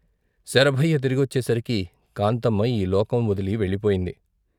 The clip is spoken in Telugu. శరభయ్య తిరిగొచ్చేసరికి కాంతమ్మ ఈ లోకం వదలి వెళ్ళిపోయింది.